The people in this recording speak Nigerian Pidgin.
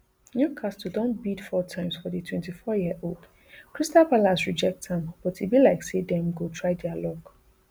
newcastle don bid four times for di twenty-fouryearold crystal palace reject am but e be like say dem go try dia luck